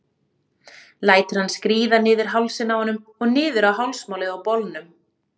Lætur hann skríða niður hálsinn á honum og niður á hálsmálið á bolnum.